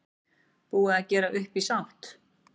Búið að gera upp í sátt